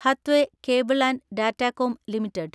Hathway cable and Datacom limited